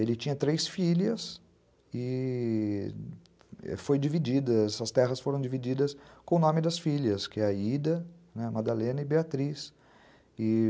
Ele tinha três filhas e... as terras foram divididas com o nome das filhas, que é Aida, Madalena e Beatriz, e...